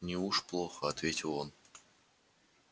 не уж плохо ответил он